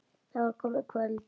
Það var komið kvöld.